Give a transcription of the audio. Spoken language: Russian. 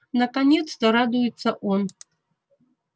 наконец-то радуется он